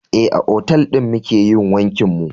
Eh, a otal ɗin muke yin wankin mu